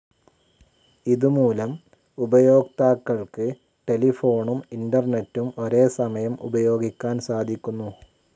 ഇതു മൂലം ഉപയോക്താക്കൾക്ക് ടെലിഫോണും ഇൻറർനെറ്റും ഒരേ സമയം ഉപയോഗിക്കാൻ സാധിക്കുന്നു.